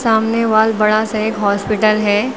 सामने वाल बड़ा सा एक हॉस्पिटल है।